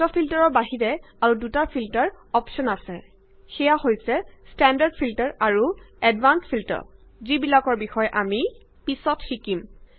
auto ফিল্টাৰৰ বাহিৰে আৰু দুটা ফিল্টাৰ অপশ্যন আছে সেইয়া হৈছে ষ্টেণ্ডাৰ্ড ফিল্টাৰ আৰু এডভান্সড ফিল্টাৰ যিবিলাকৰ বিষয়ে আমি পিছত শিকিম